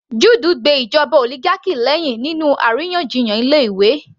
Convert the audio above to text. Jude gbe ìjọba oligarchy lẹ́hìn nínú àríyànjiyàn ilé ìwé